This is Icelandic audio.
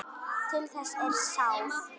Til þess er sáð.